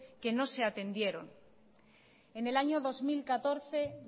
que no se atendieron en el año dos mil catorce